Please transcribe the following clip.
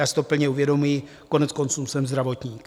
Já si to plně uvědomuji, koneckonců jsem zdravotník.